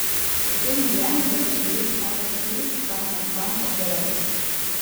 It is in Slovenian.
Ocenil je, da bo, če gre spat ob štirih, vstal naspan ob devetih.